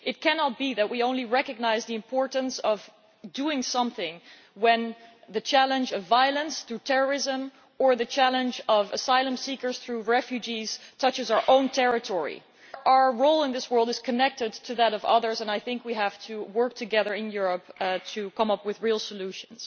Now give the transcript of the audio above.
It cannot be that we only recognise the importance of doing something when the challenge of violence through terrorism, or the challenge of asylum seekers through refugees, touches our own territory. Our role in this world is connected to that of others, and we have to work together in Europe to come up with real solutions.